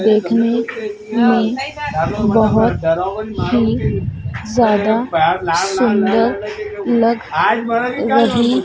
देखने में बहोत ही ज्यादा सुंदर लग रही--